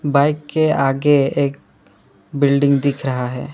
Bike के आगे एक बिल्डिंग दिख रहा है।